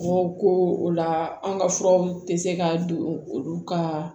Mɔgɔw ko o la an ka furaw tɛ se ka don olu ka